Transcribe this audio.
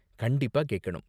கண்டிப்பா கேக்கணும்.